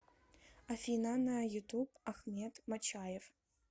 афина на ютуб ахмед мачаев